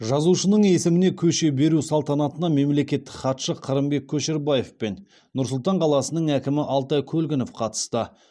жазушының есіміне көше беру салтанатына мемлекеттік хатшы қырымбек көшербаев пен нұр сұлтан қаласының әкімі алтай көлгінов қатысты